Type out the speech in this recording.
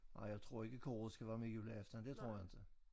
Ej jeg tror ikke koret skal være med juleaften det tror jeg inte